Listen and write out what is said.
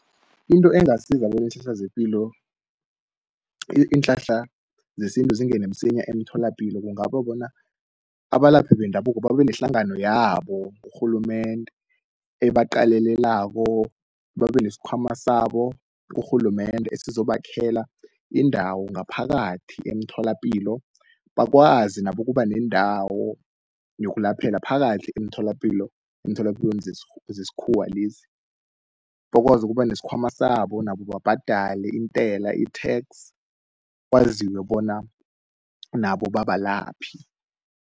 Into engasiza zepilo iinhlahla zesintu zingene msinya emtholapilo, kungaba bona abalaphi bendabuko babe nehlangano yabo kurhulumende ebaqalelelako. Babe nesikhwama sabo kurhulumende esizobakhela indawo ngaphakathi emtholapilo, bakwazi nabo ukuba nendawo yokulaphela phakathi emtholapilo, emtholapilweni zesikhuwa lezi. Bakwazi ukuba nesikhwama sabo nabo babhadale intela, i-tax kwaziwe bona nabo babalaphi.